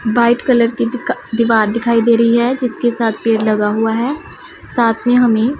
white colour की दीका दीवार दिखाई दे रही है जिसके साथ पेड़ लगा हुआ है साथ में हमें --